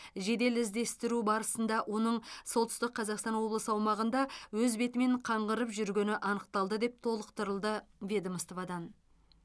жедел іздестіру барысында оның солтүстік қазақстан облысы аумағында өз бетімен қаңғырып жүргені анықталды деп толықтырылды ведомстводан